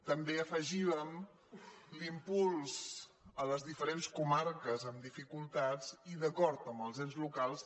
també hi afegíem l’impuls a les diferents comarques amb dificultats i d’acord amb els ens locals